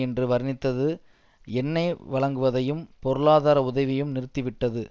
என்று வர்ணித்தது எண்ணெய் வழங்குவதையும் பொருளாதார உதவியும் நிறுத்திவிட்டது